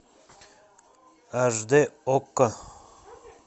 аш дэ окко